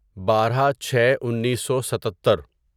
بارہ چھے انیسو ستتر